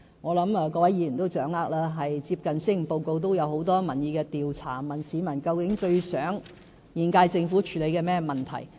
我相信各位議員都知道，最近就施政報告進行了很多民意調查，問市民最希望現屆政府處理甚麼問題。